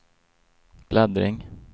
bläddring